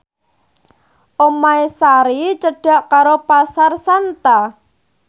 omahe Sari cedhak karo Pasar Santa